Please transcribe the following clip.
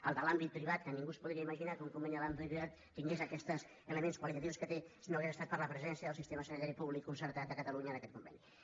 el de l’àmbit privat que ningú es podria imaginar que un conveni de l’àmbit privat tingués aquests elements qualitatius que té si no hagués estat per la presència del sistema sanitari públic concertat de catalunya en aquest conveni